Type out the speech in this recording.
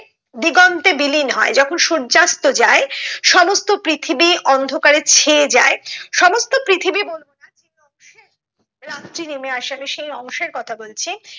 দিগন্তে বিলিন হয় যখন সূর্যাস্ত যায় সমস্ত পৃথিবী অন্ধকারে ছেয়ে যায় সমস্ত পৃথিবী রাত্রি নেমে আসে আমি সেই অংশের কথা বলছি